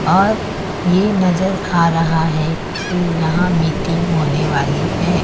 और ये नजर आ रहा है की यहां मीटिंग होने वाली है।